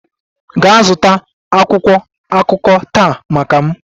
Gaa zụta akwụkwọ akụkọ taa maka m!